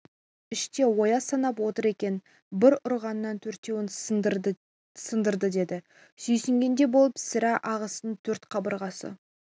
іште ояз санап отыр екен бір ұрғаннан төртеуін сындырды деді сүйсінгендей болып сірә ағасының төрт қабырғасы